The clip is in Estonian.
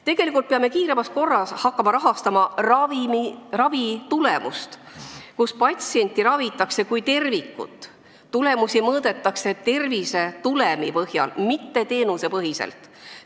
Tegelikult peame kiiremas korras hakkama rahastama ravitulemust, patsienti tuleb ravida kui tervikut ja tulemusi mõõta tervisetulemi põhjal, mitte teenusepõhiselt.